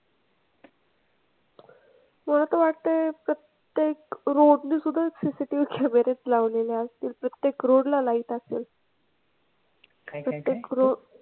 मला तर वाटतंय प्रत्येक road ने सुद्धा CCTV कॅमेरे लावलेले असतील प्रत्येक road ला light असेल. प्रत्येक road,